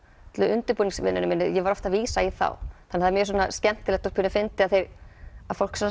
undirbúningsvinnunni minni var ég oft að vísa í þá þannig það er skemmtilegt og pínu fyndið að fólk